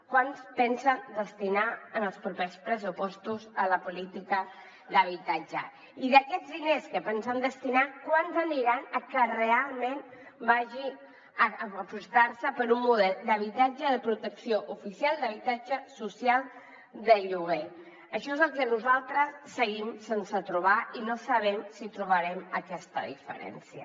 quant pensen destinar en els propers pressupostos a la política d’habitatge i d’aquests diners que pensen destinar quants aniran a que realment s’aposti per un model d’habitatge de protecció oficial d’habitatge social de lloguer això és el que nosaltres seguim sense trobar i no sabem si trobarem aquesta diferència